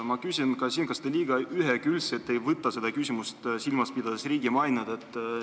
Kas te ei võta seda küsimust liiga ühekülgselt, silmas pidades riigi mainet?